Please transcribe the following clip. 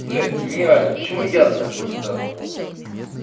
блять гениально почему я до такого не додумался